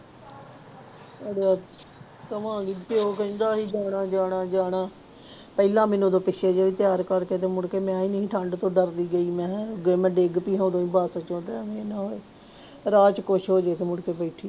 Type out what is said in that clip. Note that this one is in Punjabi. ਅੜਿਆ ਜਾਵਾਂਗੇ ਪਿਓ ਕਹਿੰਦਾ ਸੀ ਜਾਣਾ ਜਾਣਾ ਜਾਣਾ ਪਹਿਲਾਂ ਮੈਨੂੰ ਉਦੋਂ ਪਿੱਛੇ ਜਿਹੇ ਤਿਆਰ ਕਰਕੇ ਤੇ ਮੁੜਕੇ ਮੈਂ ਨੀ ਠੰਢ ਤੋਂ ਡਰਦੀ ਗਈ, ਮੈਂ ਕਿਹਾ ਅੱਗੇ ਮੈਂ ਡਿੱਗ ਪਈ ਹੋਣੀ ਬਸ ਚੋਂ ਰਾਹ ਚ ਕੁਛ ਹੋ ਜਾਏ ਤੇ ਮੁੜਕੇ ਬੈਠੀ